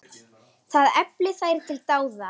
Það efli þær til dáða.